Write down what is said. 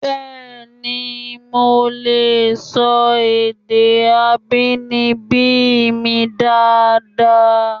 Bẹẹni, mo lè sọ èdè abínibí mi dáadáa